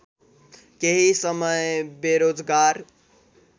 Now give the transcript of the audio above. केही समय बेरोजगार